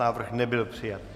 Návrh nebyl přijat.